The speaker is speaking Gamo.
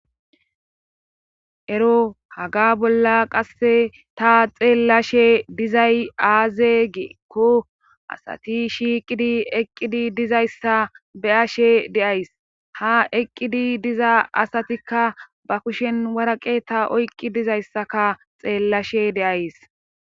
Ero haga bolla qasse ta xeellashe dizay aaze geekko asati shiiqidi eqqidi dizayssa be ashe deays ha eqqidi diza asatikka ba kushen waraqe ta oyqqi dizayssaka xeellashe deays